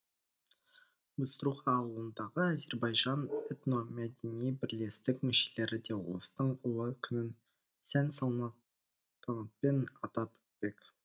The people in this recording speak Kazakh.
быструха ауылындағы әзербайжан этно мәдени бірлестік мүшелері де ұлыстың ұлы күнін сән салтанатпен атап өтпек